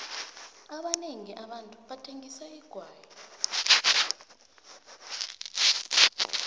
abanengi abantu bathengisa igwayi